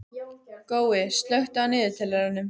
Gói, slökktu á niðurteljaranum.